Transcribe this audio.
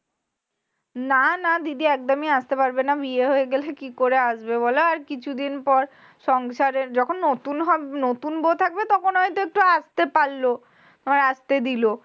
না না দিদি একদমি আসতে পারবে না। বিয়ে হয়ে গেলে, কি করে আসবে বলো? আর কিছুদিন পর সংসারের যখন নতুন হব নতুন বউ থাকবে তখন হয়তো আসতে পারল, আবার আস্তে দিল।